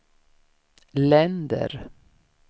länder